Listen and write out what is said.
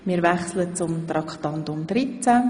Wir gehen über zu Traktandum 13.